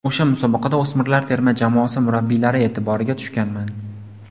O‘sha musobaqada o‘smirlar terma jamoasi murabbiylari e’tiboriga tushganman.